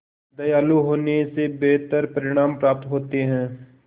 दयालु होने से बेहतर परिणाम प्राप्त होते हैं